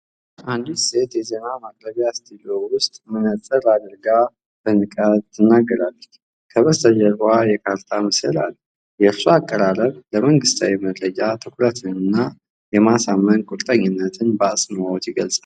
አንዲት ሴት የዜና ማቅረቢያ ስቱዲዮ ውስጥ መነፅር አድርጋ በንቃት ትናገራለች። ከበስተጀርባው የካርታ ምስል አለ። የእርሷ አቀራረብ ለመንግሥታዊ መረጃ ትኩረትንና የማሳመን ቁርጠኝነትን በአጽንዖት ይገልጻል።